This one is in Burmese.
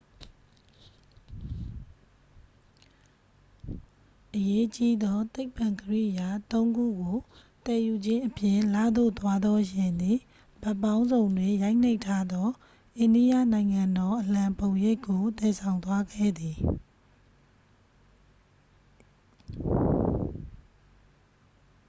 အရေးကြီးသော သိပ္ပံကိရိယာ သုံးခုကို သယ်ယူခြင်းအပြင် လသို့သွားသော ယာဉ်သည် ဘက်ပေါင်းစုံတွင် ရိုက်နှိပ်ထားသော အိန္ဒိယနိုင်ငံတော်အလံပုံရိပ်ကို သယ်ဆောင်သွားခဲ့သည်